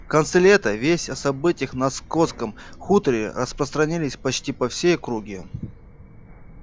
в конце лета весть о событиях на скотском хуторе распространились почти по всей округе